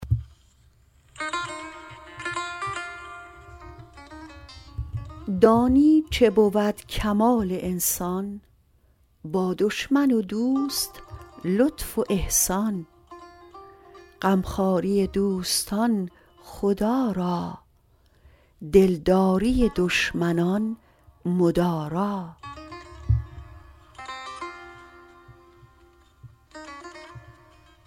دانی چه بود کمال انسان با دشمن و دوست لطف و احسان غمخواری دوستان خدا را دلداری دشمنان مدارا